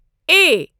A